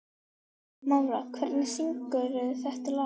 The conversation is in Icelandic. Mára, hver syngur þetta lag?